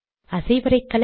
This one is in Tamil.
அசைவரைகலை